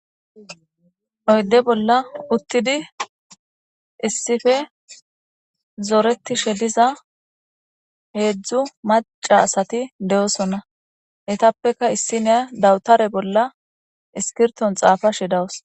Oyde bolla uttidi issife zooreti sheliza heedzdzu maca asati de'osonna etappeka issi neya dawutare bolla iskirton xaafa shidawus.